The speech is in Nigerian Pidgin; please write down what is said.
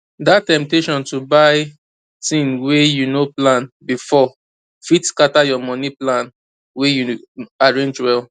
that temptation to buy thing wey you no plan before fit scatter your money plan wey you arrange well